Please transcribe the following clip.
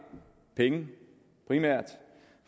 penge primært